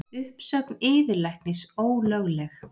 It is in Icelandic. Uppsögn yfirlæknis ólögleg